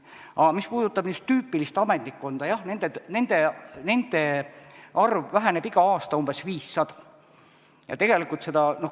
Aga mis puudutab tüüpilist ametnikkonda, siis jah, nende töötajate arv väheneb iga aasta umbes 500 võrra.